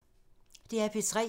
DR P3